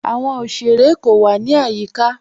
Àwọn ọ̀ṣerẹ̀ kò wà ní ayíká.